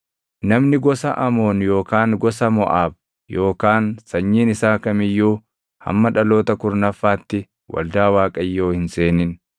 Namni gosa Amoon yookaan gosa Moʼaab yookaan sanyiin isaa kam iyyuu hamma dhaloota kurnaffaatti waldaa Waaqayyoo hin seenin.